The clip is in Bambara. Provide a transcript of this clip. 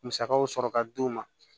Musakaw sɔrɔ ka di u ma